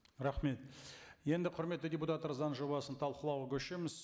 рахмет енді құрметті депутаттар заң жобасын талқылауға көшеміз